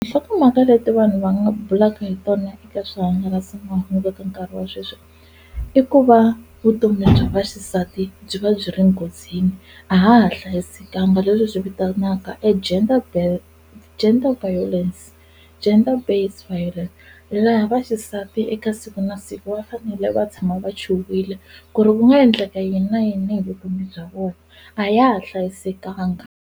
Nhlokomhaka leti vanhu va nga bulaka hi tona eka swihangalasamahungu eka nkarhi wa sweswi i ku va vutomi bya vaxisati byi va byi ri nghozini a ha ha hlayisekanga leswi hi swi vitanaka e gender base, gender violence, Gender-Based Violence laha va xisati eka siku na siku va fanele va tshama va chuhile ku ri ku nga endleka yini na yini hi vutomi bya vona a ya ha hlayisekanga.